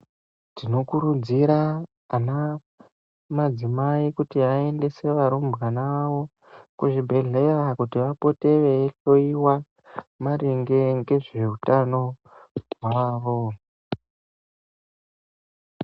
Tinokurudzira madzimai apote achiendesa varumbwana avo kuti apote achihloyiwa nekuvhenekwa maringe nezve hutano hwawo.